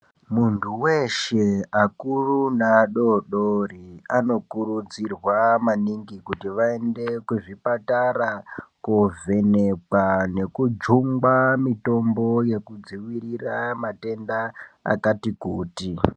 Mundu weshe akuru neadodori anokurudzirwa maningi kuti vaende kuzvipatara kovhenekwa nekujungwa mitombo yekudziwirira matenda akati kuti.